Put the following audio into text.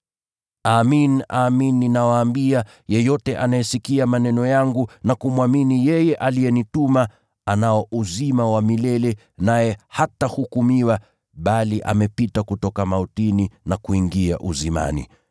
“Amin, amin nawaambia, yeyote anayesikia maneno yangu na kumwamini yeye aliyenituma, anao uzima wa milele, naye hatahukumiwa, bali amepita kutoka mautini, na kuingia uzimani.